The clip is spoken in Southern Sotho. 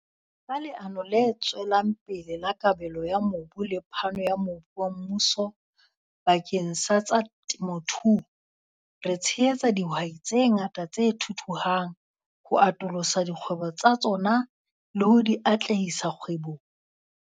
Ka Leano le Tswelang Pele la Kabelo ya Mobu le phano ya mobu wa mmuso bakeng sa tsa temothuo, re tshehetsa dihwai tse ngata tse thuthuhang ho atolosa dikgwebo tsa tsona le ho di atlehisa kgwebong.